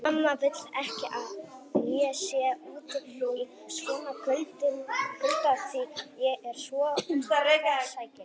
Mamma vill ekki að ég sé úti í svona kulda því ég er svo kvefsækinn